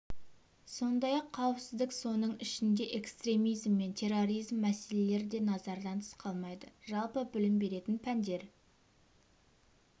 сондай-ақ қауіпсіздік соның ішінде экстремизм мен терроризм мәселелері де назардан тыс қалмайды жалпы білім беретін пәндер